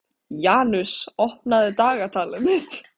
Janus, opnaðu dagatalið mitt.